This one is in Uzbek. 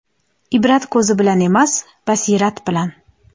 Ibrat ko‘z bilan emas, basirat bilan!.